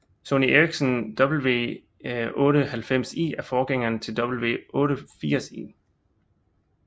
Sony Ericsson W890i er forgængeren til W880i